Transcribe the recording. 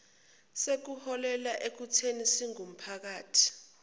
sekuholele ekuthini siwumphakathi